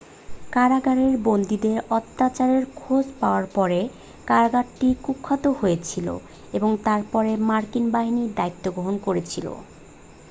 কারাগারে বন্দীদের অত্যাচারের খোঁজ পাওয়ার পরে কারাগারটি কুখ্যাত হয়েছিল এবং তার পরে মার্কিন বাহিনী দায়িত্ব গ্রহণ করেছিল